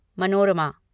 Manorama